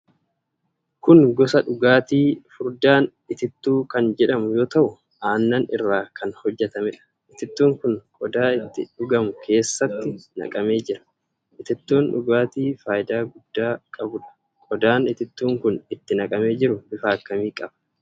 Kun gosa dhugaatii furdaan Itittuu kan jedhamu yoo ta'u aannan irraa kan hojjatamudha. Itittuun kun qodaa itti dhugamu keessatti naqamee jira. Itittuun dhugaatii faayidaa guddaa qabudha. Qodaan Itittuun kun itti naqamee jiru bifa akkamii qaba?